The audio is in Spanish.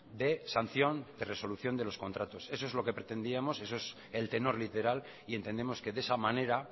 de sanción de resolución de los contratos eso es lo que pretendíamos eso es el tenor literal y entendemos que de esa manera